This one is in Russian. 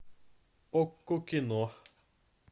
окко кино